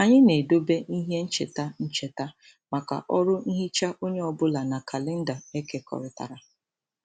Anyị na-edobe ihe ncheta ncheta maka ọrụ nhicha onye ọ bụla na kalenda ekekọrịtara.